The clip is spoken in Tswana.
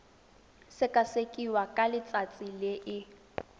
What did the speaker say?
sekasekiwa ka letsatsi le e